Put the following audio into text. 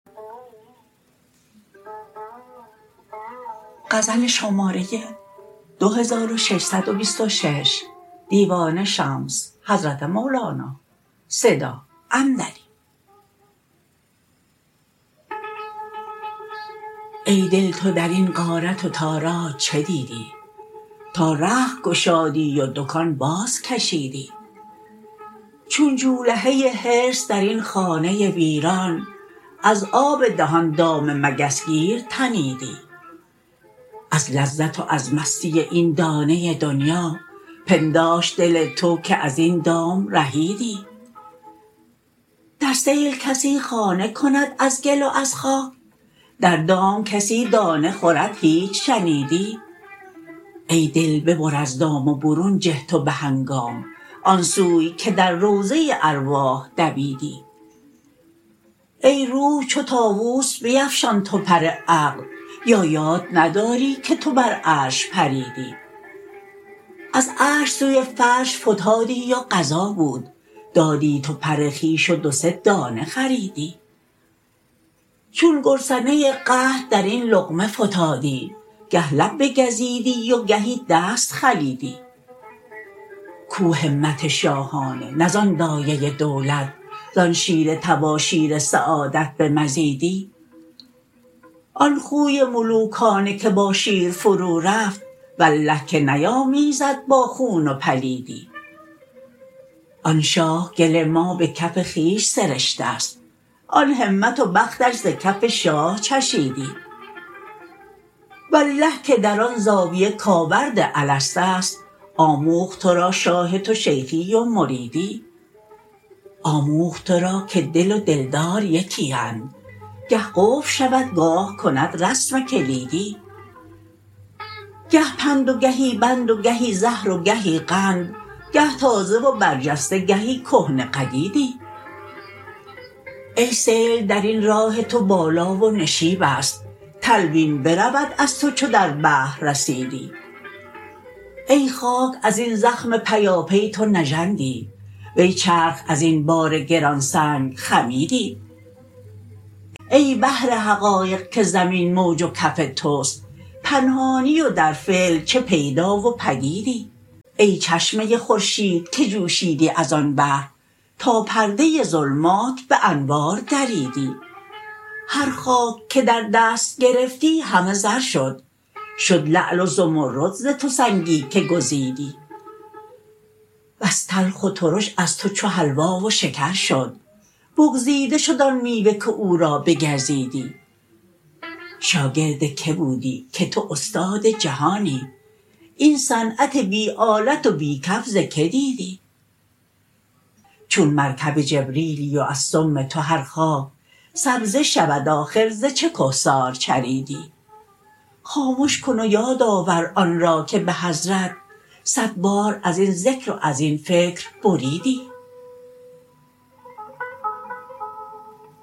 ای دل تو در این غارت و تاراج چه دیدی تا رخت گشادی و دکان بازکشیدی چون جولهه حرص در این خانه ویران از آب دهان دام مگس گیر تنیدی از لذت و از مستی این دانه دنیا پنداشت دل تو که از این دام رهیدی در سیل کسی خانه کند از گل و از خاک در دام کسی دانه خورد هیچ شنیدی ای دل ببر از دام و برون جه تو به هنگام آن سوی که در روضه ارواح دویدی ای روح چو طاووس بیفشان تو پر عقل یا یاد نداری تو که بر عرش پریدی از عرش سوی فرش فتادی و قضا بود دادی تو پر خویش و دو سه دانه خریدی چون گرسنه قحط در این لقمه فتادی گه لب بگزیدی و گهی دست خلیدی کو همت شاهانه نه زان دایه دولت زان شیر تباشیر سعادت بمزیدی آن خوی ملوکانه که با شیر فرورفت والله که نیامیزد با خون و پلیدی آن شاه گل ما به کف خویش سرشته ست آن همت و بختش ز کف شاه چشیدی والله که در آن زاویه کاوراد الست است آموخت تو را شاه تو شیخی و مریدی آموخت تو را که دل و دلدار یکی اند گه قفل شود گاه کند رسم کلیدی گه پند و گهی بند و گهی زهر و گهی قند گه تازه و برجسته گهی کهنه قدیدی ای سیل در این راه تو بالا و نشیب است تلوین برود از تو چو در بحر رسیدی ای خاک از این زخم پیاپی تو نژندی وی چرخ از این بار گران سنگ خمیدی ای بحر حقایق که زمین موج و کف توست پنهانی و در فعل چه پیدا و پدیدی ای چشمه خورشید که جوشیدی از آن بحر تا پرده ظلمات به انوار دریدی هر خاک که در دست گرفتی همه زر شد شد لعل و زمرد ز تو سنگی که گزیدی بس تلخ و ترش از تو چو حلوا و شکر شد بگزیده شد آن میوه که او را بگزیدی شاگرد کی بودی که تو استاد جهانی این صنعت بی آلت و بی کف ز کی دیدی چون مرکب جبریلی و از سم تو هر خاک سبزه شود آخر ز چه کهسار چریدی خامش کن و یاد آور آن را که به حضرت صد بار از این ذکر و از این فکر بریدی